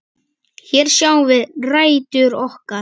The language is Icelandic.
Hér sjáum við rætur okkar.